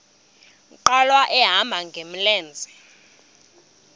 nkqwala ehamba ngamlenze